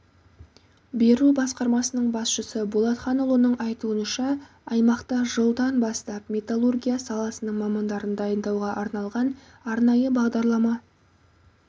беру басқармасының басшысы болатханұлының айтуынша аймақта жылдан бастап металлургия саласының мамандарын дайындауға арналған арнайы бағдарлама